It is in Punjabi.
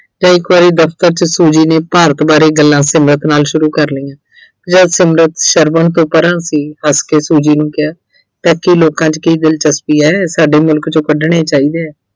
ਫਿਰ ਇੱਕ ਵਾਰੀ ਦਫ਼ਤਰ ਵਿੱਚ Suji ਨੇ ਭਾਰਤ ਬਾਰੇ ਗੱਲਾਂ ਸੰਗਤ ਨਾਲ ਸ਼ੁਰੂ ਕਰ ਲਈਆਂ ਜਦ ਸੰਗਤ ਸ਼ਰਵਣ ਤੋਂ ਪਰਾਂ ਸੀ ਹੱਸ ਕੇ Suji ਨੂੰ ਕਿਹਾ fatty ਲੋਕਾਂ 'ਚ ਕੀ ਦਿਲਚਸਪੀ ਐ, ਸਾਡੇ ਮੁਲਕ ਚੋਂ ਕੱਢਣੇ ਚਾਹੀਦੇ ਆ।